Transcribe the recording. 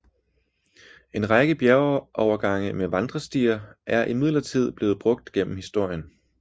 En række bjergovergange med vandrestier er imidlertid blevet brugt gennem historien